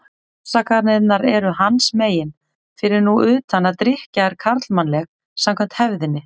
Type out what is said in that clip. Afsakanirnar eru hans megin, fyrir nú utan að drykkja er karlmannleg, samkvæmt hefðinni.